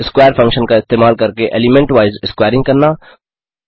square function का इस्तेमाल करके एलीमेंटवाइज़ स्क्वैरिंग करना